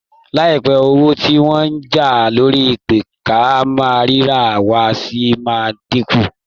Láìpẹ́ owó tí wọ́n ń já lórí ìpè-ká-máa-ríra-wa ṣì máa dínkù